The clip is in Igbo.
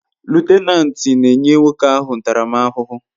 Lutenanti n'enye nwokoahu ntaram ahuhu